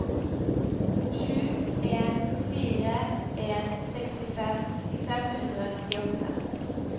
sju en fire en sekstifem fem hundre og nittiåtte